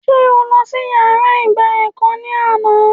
Sé o lọ sí yàrá ìgba ẹ̀kọ́ ní àná?